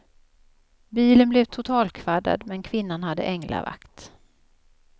Bilen blev totalkvaddad, men kvinnan hade änglavakt.